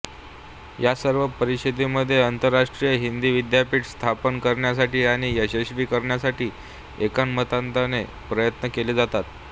या सर्व परिषदांमध्ये आंतरराष्ट्रीय हिंदी विद्यापीठ स्थापन करण्यासाठी आणि यशस्वी करण्यासाठी एकमताने प्रयत्न केले गेले